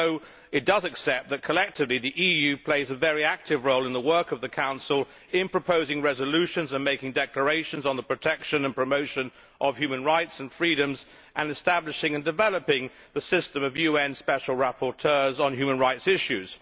Although it does accept that collectively the EU plays a very active role in the work of the Council in proposing resolutions and making declarations on the protection and promotion of human rights and freedoms and establishing and developing the system of UN special rapporteurs on human rights issues.